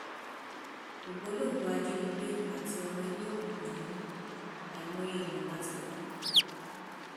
ògbólógbòó ajínigbé àti ọmọ ẹgbẹ òkùnkùn ni mí àìmọye èèyàn la ti pa